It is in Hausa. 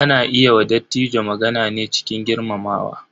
Ana yi wa Dattijo magana ne cikin girmamawa.